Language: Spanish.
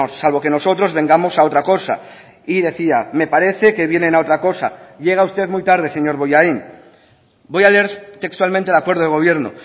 salvo que nosotros vengamos a otra cosa y decía me parece que vienen a otra cosa llega usted muy tarde señor bollain voy a leer textualmente el acuerdo de gobierno